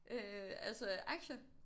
Øh altså aktier?